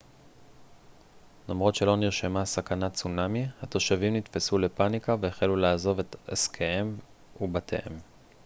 למרות שלא נרשמה סכנת צונמי התושבים נתפסו לפניקה והחלו לעזוב את עסקיהם ובתיהם